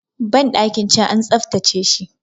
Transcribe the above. bandakin can an tsaftace shi